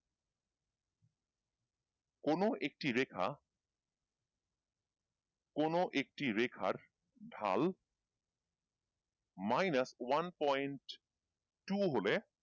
কোন একটি রেখা কোন একটি রেখার ঢাল minus one point two হলে,